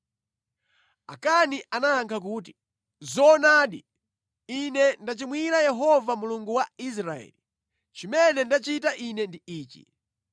Akani anayankha kuti, “Zoona! Ine ndachimwira Yehova Mulungu wa Israeli. Chimene ndachita ine ndi ichi: